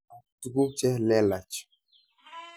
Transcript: Ak tuguk che lelach.